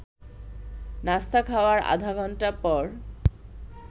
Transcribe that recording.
নাস্তা খাওয়ার আধা ঘণ্টা পর